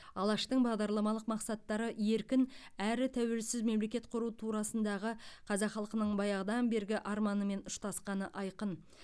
алаштың бағдарламалық мақсаттары еркін әрі тәуелсіз мемлекет құру турасындағы қазақ халқының баяғыдан бергі арманымен ұштасқаны айқын